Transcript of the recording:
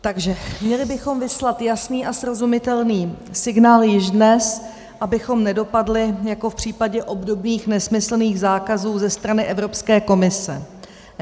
Takže měli bychom vyslat jasný a srozumitelný signál již dnes, abychom nedopadli jako v případě obdobných nesmyslných zákazů ze strany Evropské komise.